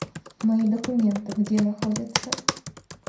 мои документы где находится